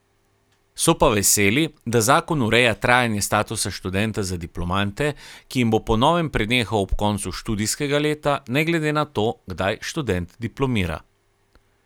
So pa veseli, da zakon ureja trajanje statusa študenta za diplomante, ki jim bo po novem prenehal ob koncu študijskega leta, ne glede na to, kdaj študent diplomira.